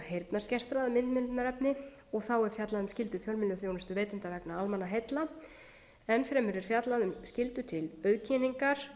heyrnarskertra um miðmiðlunarefni og þá er fjallað um skyldur fjölmiðlaþjónustuveitenda vegna almannaheilla enn fremur er fjallað skyldu til auðkenningar